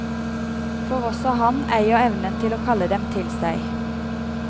For også han eier evnen til å kalle dem til seg.